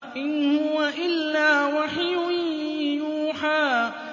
إِنْ هُوَ إِلَّا وَحْيٌ يُوحَىٰ